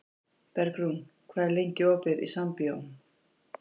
Bergrún, hvað er lengi opið í Sambíóunum?